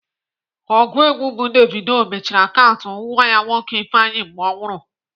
Ọgụ egwu bụ Davido mechiri akaụntụ nwa ya nwoke Ifeanyi mgbe ọ nwụrụ.